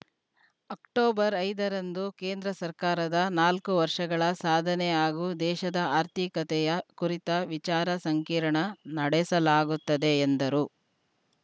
October ಐದರಂದು ಕೇಂದ್ರ ಸರ್ಕಾರದ ನಾಲ್ಕು ವರ್ಷಗಳ ಸಾಧನೆ ಹಾಗೂ ದೇಶದ ಆರ್ಥಿಕತೆಯ ಕುರಿತ ವಿಚಾರ ಸಂಕಿರಣ ನಡೆಸಲಾಗುತ್ತದೆ ಎಂದರು